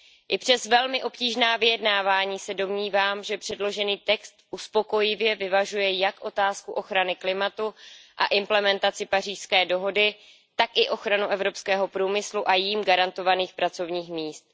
I přes velmi obtížná vyjednávání se domnívám, že předložený text uspokojivě vyvažuje jak otázku ochrany klimatu a implementaci Pařížské dohody, tak i ochranu evropského průmyslu a jím garantovaných pracovních míst.